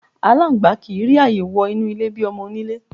Aláǹgbá kì í rí ààyè wo̩ inú ilé bi o̩mo̩-oníle.